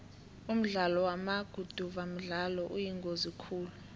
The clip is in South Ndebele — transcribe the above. umdlalo wamaguduva mdlalo oyingozi khulu